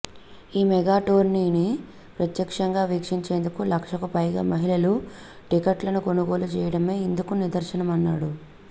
ఈ మెగా టోర్నీని ప్రత్యక్షంగా వీక్షించేందుకు లక్షకు పైగా మహిళలు టిక్కెట్లను కొనుగోలు చేయడమే ఇందుకు నిదర్శనమన్నాడు